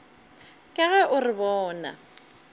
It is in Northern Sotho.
ka ge o re bona